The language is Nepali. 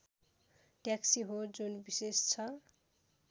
टयाक्सी हो जुन विशेष छ